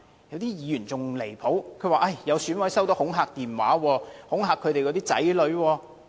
有議員更離譜，表示有選委收到恐嚇電話，恐嚇他們的子女。